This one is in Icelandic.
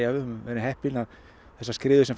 höfum verið heppin að þessar skriður sem